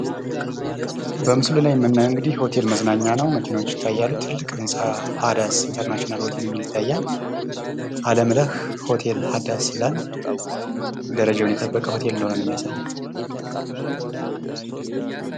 በምስሉ ላይ የምናየዉ እንግዲህ ሆቴል መዝናኛ ነው ፤ መኪኖች ይታያሉ፣ ትልቅ ህንጻ ሃዳስ ኢንተርናሽናል ሆቴል የሚል ይታያል፤ አለምነኽ ሆቴል ሃዳስ ይላል ፤ ደረጃዉን የጠበቀ ሆቴል እንደሆነ ነው የሚያሳየዉ።